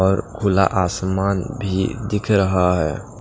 और खुला आसमान भी दिख रहा है।